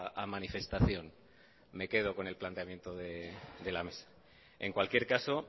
a manifestación me quedo con el planteamiento de la mesa en cualquier caso